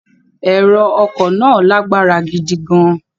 Ẹ̀rọ ọkọ̀ náà lágbára gidi gan-an.